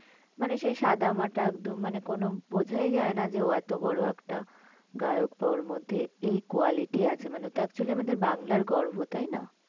মানে সেই সাদামাটা একদম। মানে কোনো বোঝাই যায় না যে ও এত বড় একটা গায়ক বা ওর মধ্যে এই quality আছে। মানে ও তো actually আমাদের বাংলার গর্ভ, তাইনা?